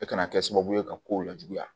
E kana kɛ sababu ye ka kow lajuguya